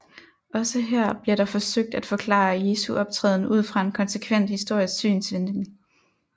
Også her bliver der forsøgt at forklare Jesu optræden ud fra en konsekvent historisk synsvinkel